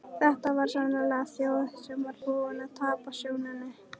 Þetta var sannarlega þjóð sem var búin að tapa sjóninni.